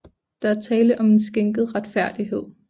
Der er tale om en skænket retfærdighed